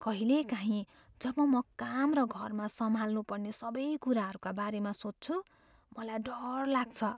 कहिलेकाहीँ जब म काम र घरमा सम्हाल्नु पर्ने सबै कुराहरूको बारेमा सोच्छु मलाई डर लाग्छ।